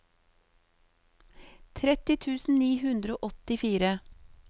tretti tusen ni hundre og åttifire